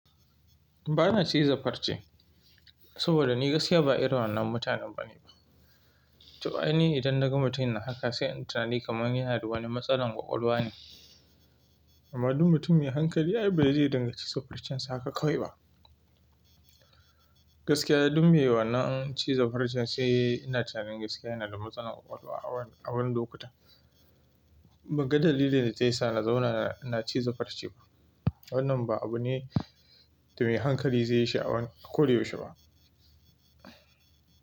Ba na ciza farce, saboda ni gaskiya ba irin wannan mutanen bane To ai ni idan daga mutum yana haka sai in tinnani kamar yana da wani matsalar ƙwaƙwalwa ne. Amma duk mutum mai hankali ai ba zai dinga ciza farcen sa haka kawai ba. Gaskiya duk me wannan ciza farcen sai ina tinnani gaskiya yana da matsalar ƙwaƙwalwa a wurin lokuta Ban ga dalilin da zai sa na zauna na ciza farce ba. Wannan ba abu ne da mai hankali zai yi shi a ko da yaushe ba.